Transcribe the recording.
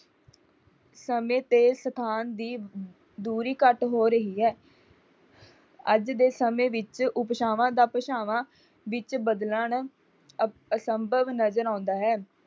ਸਮੇਂ ਤੇ ਸਥਾਨ ਦੀ ਦੂਰੀ ਘੱਟ ਹੋ ਰਹੀ ਹੈ। ਅੱਜ ਦੇ ਸਮੇਂ ਵਿੱਚ ਉਪਭਾਸ਼ਵਾਂ ਦਾ ਭਾਸ਼ਵਾਂ ਵਿੱਚ ਬਦਲਣ ਅਸੰਭਵ ਨਜਰ ਆਉਂਦਾ ਹੈ।